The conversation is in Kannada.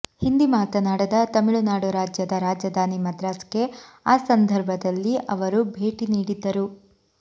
ಹಿಂದಿ ಮಾತನಾಡದ ತಮಿಳುನಾಡು ರಾಜ್ಯದ ರಾಜಧಾನಿ ಮದ್ರಾಸ್ಗೆ ಆ ಸಂದರ್ಭದಲ್ಲಿ ಅವರು ಭೇಟಿ ನೀಡಿದ್ದರು